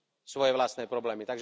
svoje vlastné problémy.